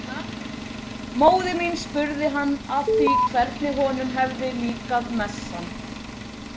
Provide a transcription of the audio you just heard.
Móðir mín spurði hann að því hvernig honum hefði líkað messan.